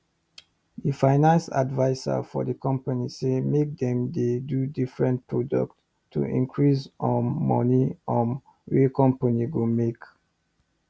d finance adviser for d company say make dem dey do different product to increase um moni um wey company go make